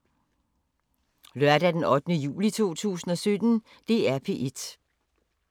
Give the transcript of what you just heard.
Lørdag d. 8. juli 2017